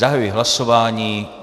Zahajuji hlasování.